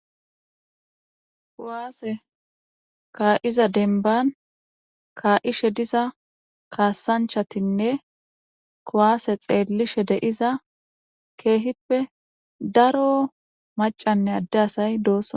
kuwaase kaa7iza denban kaa7ishe diza kaasanchatinne kuwaase xeellishe deiza keehippe daro macanne adde asay doossa